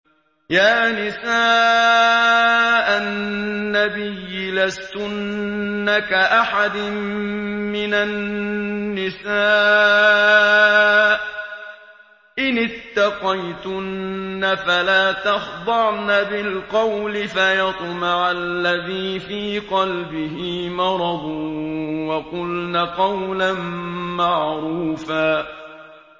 يَا نِسَاءَ النَّبِيِّ لَسْتُنَّ كَأَحَدٍ مِّنَ النِّسَاءِ ۚ إِنِ اتَّقَيْتُنَّ فَلَا تَخْضَعْنَ بِالْقَوْلِ فَيَطْمَعَ الَّذِي فِي قَلْبِهِ مَرَضٌ وَقُلْنَ قَوْلًا مَّعْرُوفًا